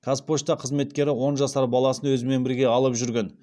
қазпошта қызметкері он жасар баласын өзімен бірге алып жүрген